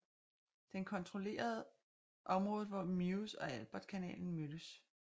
Den kontrollerede området hvor Meuse og Albert kanalen mødes